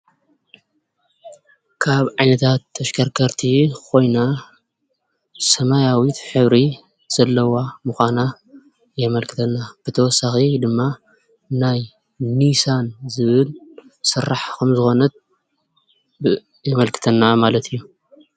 ካብ ዓይነታት ተሽከርከርቲ ኮይና ሰማያዊት ሕብሪ ዘለዋ ምኻና የመልክተና። ብተወሳኺ ድማ ናይ ኒሳን ዝብል ስራሕ ከም ዝኾነት የመልክተና ማለት እዩ።